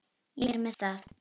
Ég er með það.